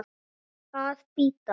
Að bíta.